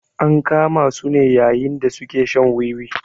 An kama su ne yayin da su ke shan wiwi.